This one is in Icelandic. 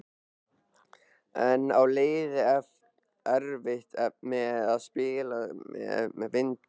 En á liðið erfitt með að spila með vindi?